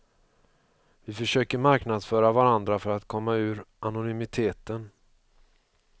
Vi försöker marknadsföra varandra för att komma ur anonymiteten.